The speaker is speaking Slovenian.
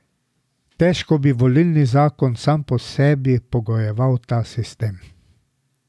Težko bi volilni zakon sam po sebi pogojeval ta sistem.